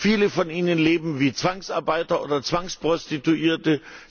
Viele von ihnen leben wie Zwangsarbeiter oder Zwangsprostituierte.